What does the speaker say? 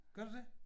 Gør du det?